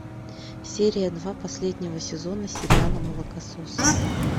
серия два последнего сезона сериала молокососы